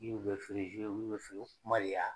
Diw bɛ feere